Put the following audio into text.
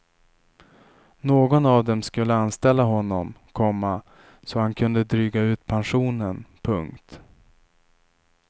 Någon av dem skulle anställa honom, komma så han kunde dryga ut pensionen. punkt